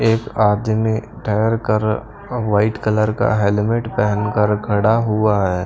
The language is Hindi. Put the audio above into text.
एक आदमी ठहरकर वाइट कलर का हेलमेट पहनकर खड़ा हुआ है।